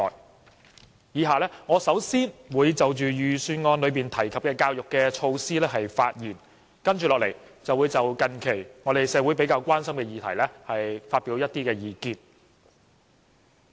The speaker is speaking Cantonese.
我以下會先就預算案提及的教育措施發言，接着便會就近期社會較為關心的議題發表一些意見。